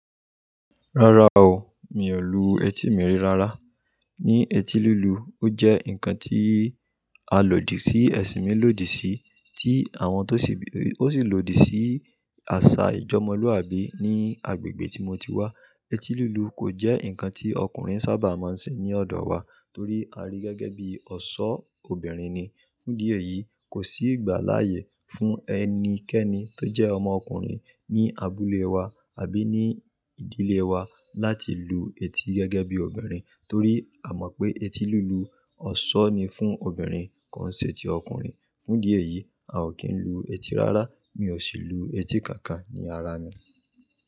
Rárá o, mi ò lu etí mi ri rírá. Ni eti lulu, ó jẹ́ nǹkan tí a lòdì sí, ẹṣin mi lòdì sí, tí àwọn tó sì lòdì sí àṣà ìjọ́mọ́luàbí ní agbègbè tí mo ti wá. Eti lulu kò jẹ́ nǹkan tí ọkùnrin saábà máa ń ṣe ní ọ̀dọ̀ wa torí à rí gẹ́gẹ́ bí ọ̀ṣọ́ obìnrin ni. Fún idi eyii, kò sí ìgbàláyè fún ẹnikẹ́ni tó jẹ́ ọmọ ọkùnrin ní àbúlẹ̀ wa àbí ní ìdílé wa láti lu etí gẹ́gẹ́ bí obìnrin torí a mọ̀ pé eti lulu ọ̀ṣọ́ ni fún obìnrin kò ń ṣe ti ọkùnrin. Fún idi eyìí, a ò kí ń lu etí rárá. Mi ò sì lu etí kankan ní ara mi.